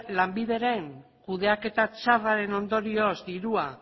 lanbideren kudeaketa txarraren ondorioz dirua